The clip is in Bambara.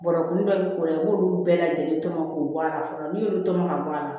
Bɔrɔkun dɔ bi k'u la i b'olu bɛɛ lajɛlen tɔmɔ k'o bɔ a la fɔlɔ n'i y'olu tɔmɔ ka bɔ a la